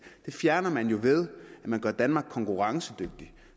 det fjerner man jo ved at man gør danmark konkurrencedygtig